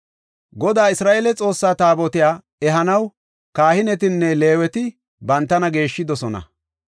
Godaa Isra7eele Xoossa Taabotiya ehanaw kahinetinne Leeweti bantana geeshshidosona.